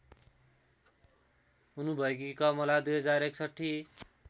हुनुभएकी Kamala २०६१